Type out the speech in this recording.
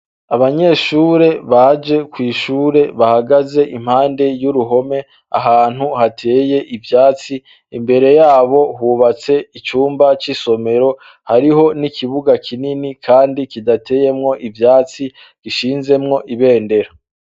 Abanyeshure baje kw'ishure bahagaze impande y'uruhome, ahantu hateye ivyatsi imbere yabo hubatse icumba c'isomero hariho n'ikibuga kinini, kandi kidateyemwo ivyatsi gishinzemwo ibendera.